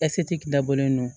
ɛsike dabɔlen don